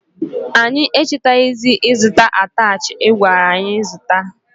Anyị echetazighi ịzụta atachi i gwara anyị zụta.